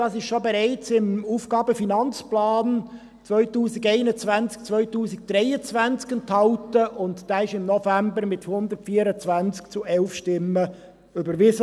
Dies ist bereits im Aufgaben- und Finanzplan (AFP) 2021–2023 enthalten, und dieser wurde im November mit 124 zu 11 Stimmen überwiesen.